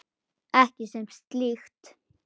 Ekki sem slíkt.